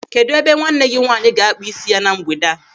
Kedụ ebe nwanne gị nwaanyị ga-akpa isi ya na mgbede a?